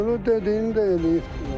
Ölür dediyini də eləyib də.